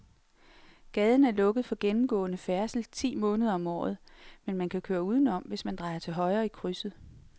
Gaden er lukket for gennemgående færdsel ti måneder om året, men man kan køre udenom, hvis man drejer til højre i krydset.